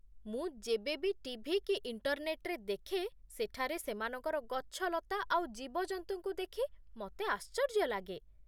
ମୁଁ ଯେବେ ବି ଟିଭି କି ଇଣ୍ଟରନେଟ୍‌ରେ ଦେଖେ ସେଠାରେ ସେମାନଙ୍କର ଗଛଲତା ଆଉ ଜୀବଜନ୍ତୁଙ୍କୁ ଦେଖି ମତେ ଆଶ୍ଚର୍ଯ୍ୟ ଲାଗେ ।